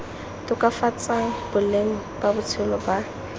tokafatsang boleng ba botshelo ba